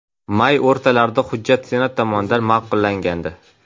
May o‘rtalarida hujjat senat tomonidan ma’qullangandi.